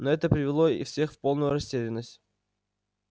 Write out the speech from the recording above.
но это привело всех в полную растерянность